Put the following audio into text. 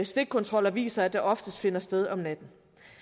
stikkontroller viser at det oftest finder sted om natten